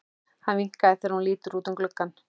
Hann vinkar þegar hún lítur út um gluggann.